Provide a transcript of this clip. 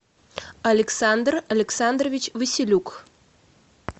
александр александрович василюк